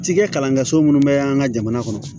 Cikɛ kalan kɛ so minnu bɛ an ka jamana kɔnɔ